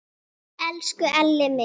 Elsku Elli minn!